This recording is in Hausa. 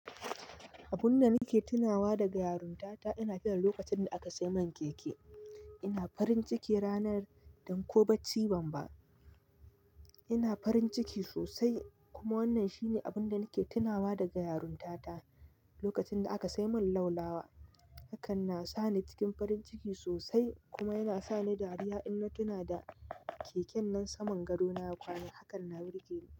Abun da nake tunawa da ga yarun tata ina tina lokacin da aka sai min keke. Ina farin ciki ranar, dan ko ba ccibamba. Ina farin ciki sosai, kuma wannan shine abun da nake tunawa da ga yarun tata. Lokacin da aka sai min laulawa, hakan na sa ni cikin farin ciki sosai kuma yana sa ni dariya inna tuna da keken nan saman gado na ya kwana. Hakan na birge ni.